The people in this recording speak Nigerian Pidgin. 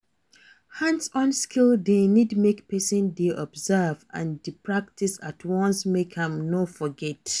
Hands-on skill de need make persin de observe and de practice at once make im no forget